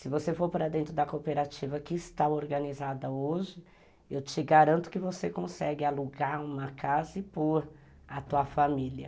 Se você for para dentro da cooperativa que está organizada hoje, eu te garanto que você consegue alugar uma casa e pôr a tua família.